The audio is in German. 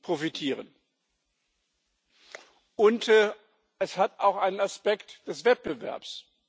profitieren. Und es hat auch einen Aspekt des Wettbewerbs.